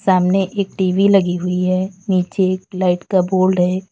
सामने एक टी_वी लगी हुई है नीचे एक लाइट का बोर्ड है।